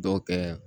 Dɔw kɛ